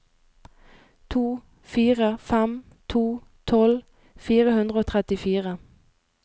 to fire fem to tolv fire hundre og trettifire